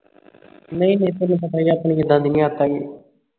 ਨਹੀਂ ਨਹੀਂ ਤੈਨੂੰ ਪਤਾ ਹੀ ਹੈ ਆਪਣੀ ਕਿੱਦਾਂ ਦੀ ਨਹੀ ਆਦਤ ਹੈਗੀ